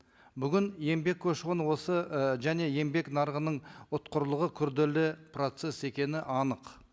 бүгін еңбек көші қоны осы і және еңбек нарығының ұтқырлығы күрделі процесс екені анық